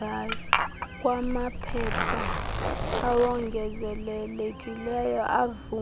kwamaphepha awongezelelekileyo avame